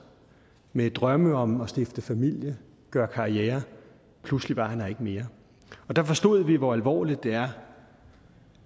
med drømme om at stifte familie gøre karriere pludselig var han her ikke mere der forstod vi hvor alvorligt det er